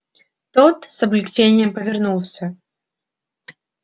тот с облегчением повернулся